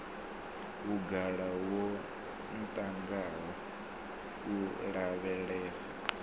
vhugala wo ntangaho u lavhelesa